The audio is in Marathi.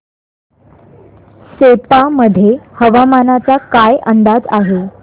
सेप्पा मध्ये हवामानाचा काय अंदाज आहे